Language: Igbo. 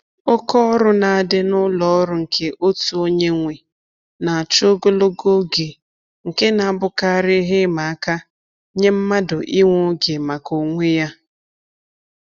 Oke ọrụ na-adị n'ụlọ ọrụ nke otu onye nwe na-achọ ogologo oge nke na-abụkarị ihe ịma aka nye mmadụ inwe oge maka onwe ya